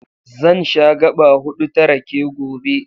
Zan sha gaɓa huɗu ta rake gobe.